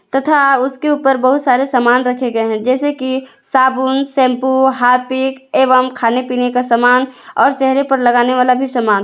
तथा उसके ऊपर बहुत सारे सामान रखे गए हैं जैसे कि साबुन शैंपू हार्पिक एवं खाने पीने का सामान और चेहरे पर लगाने वाला भी सामान।